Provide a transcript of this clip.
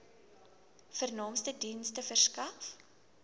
vernaamste dienste verskaf